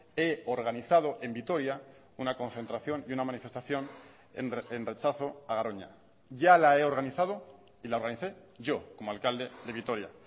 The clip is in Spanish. he organizado en vitoria una concentración y una manifestación en rechazo a garoña ya la he organizado y la organicé yo como alcalde de vitoria